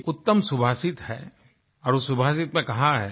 एक उत्तम सुभाषित है और उस सुभाषित ने कहा है